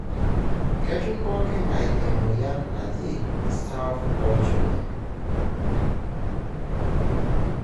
ketum pooki ngae emoyian naji staph olchoni.